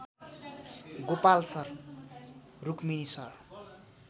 Gopal sir Rukmini sir